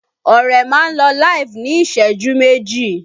Ọrẹ máa lọ LIVE ní ìṣẹ́jú méjì